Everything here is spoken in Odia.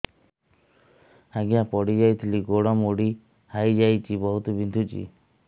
ଆଜ୍ଞା ପଡିଯାଇଥିଲି ଗୋଡ଼ ମୋଡ଼ି ହାଇଯାଇଛି ବହୁତ ବିନ୍ଧୁଛି